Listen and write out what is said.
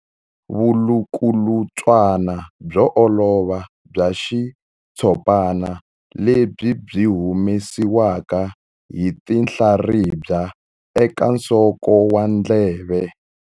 Vulukulutswana byo olova bya xitshopana lebyi byi humesiwaka hi tinhlaribya eka nsoko wa ndleve.